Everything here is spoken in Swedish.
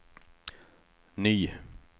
ny